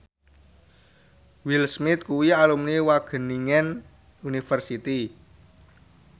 Will Smith kuwi alumni Wageningen University